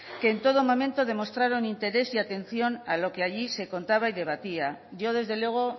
que en todo momento demostraron interés y atención a lo que allí se contaba y debatía yo desde luego